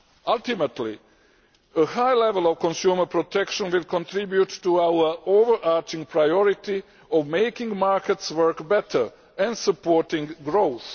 Ultimately, a high level of consumer protection will contribute to our overarching priority of making markets work better and supporting growth.